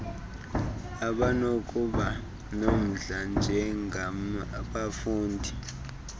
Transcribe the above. abanokuba nomdla njengabafundi